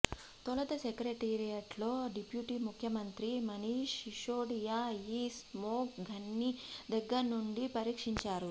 తొలుత సెక్రటేరియట్లో డిప్యూటీ ముఖ్యమంత్రి మనీష్ శిశోడియా ఈ స్మోగ్ గన్స్ని దగ్గరుండి పరీక్షించారు